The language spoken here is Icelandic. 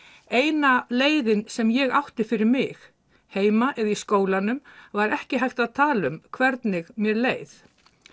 eina leiðin sem ég átti fyrir mig heima eða í skólanum var ekki hægt að tala um hvernig mér leið